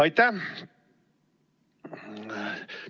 Aitäh!